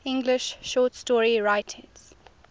english short story writers